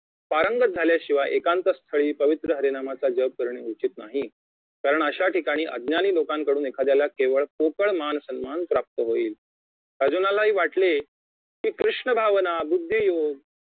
पारंगत झाल्याशिवाय एकांत स्थळी पवित्र्य हरिनामाचा जप करणे उचित नाही कारण अशाठिकाणी अज्ञानी लोकांकडून एखाद्याला केवळ पोकळ मानसम्मान प्राप्त होईल अर्जुनालाही वाटले की कृष्ण भावना बुद्धी योग